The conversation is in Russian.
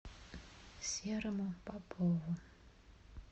серому попову